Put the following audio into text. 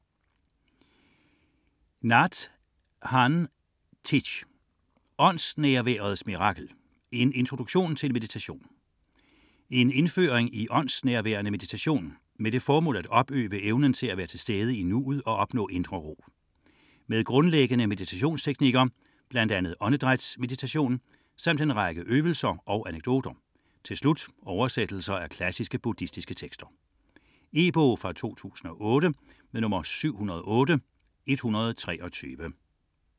29.43 Nhât Hanh Thich: Åndsnærværets mirakel: en introduktion til meditation En indføring i åndsnærværende meditation, med det formål at opøve evnen til at være til stede i nuet og opnå indre ro. Med grundlæggende meditationsteknikker, bl.a. åndedrætsmeditation, samt en række øvelser og anekdoter. Til slut oversættelser af klassiske buddhistiske tekster. E-bog 708123 2008.